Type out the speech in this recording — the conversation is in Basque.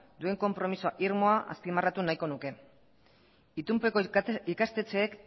duen konpromiso irmoa azpimarratu nahiko nuke itunpeko ikastetxeek